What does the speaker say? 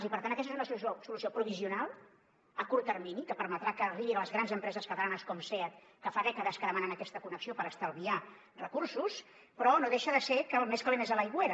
i per tant aquesta és una solució provisional a curt termini que permetrà que arribi a les grans empreses catalanes com seat que fa dècades que demanen aquesta connexió per estalviar recursos però no deixa de ser que el més calent és a l’aigüera